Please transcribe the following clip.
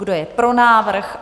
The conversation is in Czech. Kdo je pro návrh?